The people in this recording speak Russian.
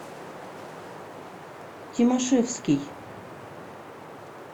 тимошевский